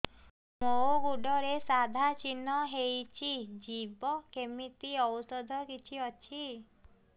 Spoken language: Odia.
ମୋ ଗୁଡ଼ରେ ସାଧା ଚିହ୍ନ ହେଇଚି ଯିବ କେମିତି ଔଷଧ କିଛି ଅଛି